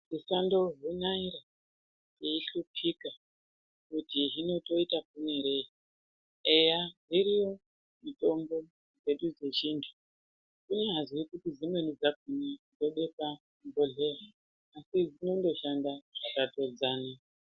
Muchando hinai veihlupika kuti toite maponerei eya dziriyo mitombo dzedu dzechintu kunyazwi kuti dzimweni dzakhona dzobhekwa muzvibhodhleya asi dzinongoshanda zvakafanana.